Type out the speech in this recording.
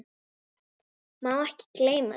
Má ekki gleyma því.